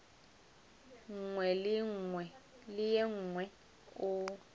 nngwe le ye nngwe o